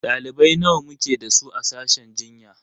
Ɗalibai nawa muke da su a sashen jinya?